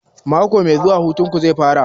Mako mai zuwa hutun ku zai fara?